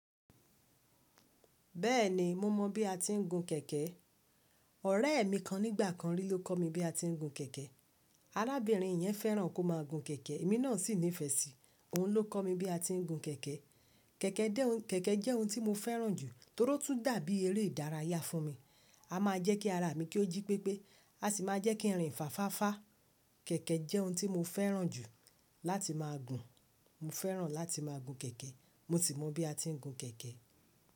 Bẹ́ẹ̀ni, mo mọ bí a ti ń gun kẹ̀kẹ́. Ọ̀rẹ́ mi kan nígbà kan rí ló kọ́ mi bí a ti ń gun kẹ̀kẹ́. Arábìnrin yẹn fẹ́ràn kó máa gun kẹ̀kẹ́, èmi náà sì nífẹ̀ẹ́ sí i, òun ló kọ́ mi bí a ti ń gun kẹ̀kẹ́. Kẹ̀kẹ́ jẹ́ ohun tí mo fẹ́ràn jù nítorí ó tún dàbí eré ìdárayá fún mi. A máa jẹ́ kí ara mi kí ó jí pépé, a sì máa jẹ́ kí irun ìfáfá fá. Kẹ̀kẹ́ jẹ́ ohun tí mo fẹ́ràn jù láti máa gun. Mo fẹ́ràn láti máa gun kẹ̀kẹ́. Mo sì mọ bí a ti ń gun kẹ̀kẹ́.